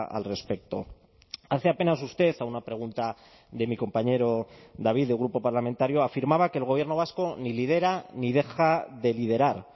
al respecto hace apenas usted a una pregunta de mi compañero david del grupo parlamentario afirmaba que el gobierno vasco ni lidera ni deja de liderar